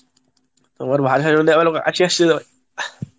তোমার ভাষা শুনে আমার হাসি আসছিল।